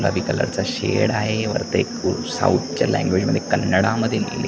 खाकी कलर चा शेड आहे वरती खूप साऊथ च्या लँग्वेज मध्ये कन्नडा मध्ये लिहिलं --